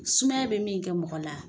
Sumaya bɛ min kɛ mɔgɔ la